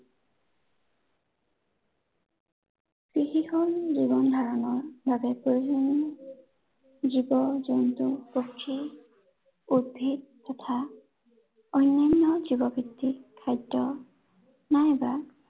কৃষি হল জীৱন ধাৰনৰ বাবে প্ৰয়োজনীয় জীৱ জন্তু, পক্ষী, উদ্ধিদ তথা, অন্য়ান্য় জীৱভিত্তিক খাদ্য়, নাইবা